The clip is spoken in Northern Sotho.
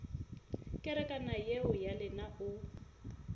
kerekana yeo ya lena o